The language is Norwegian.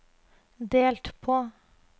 delt på